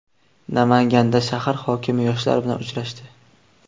Namanganda shahar hokimi yoshlar bilan uchrashdi.